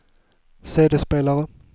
CD-spelare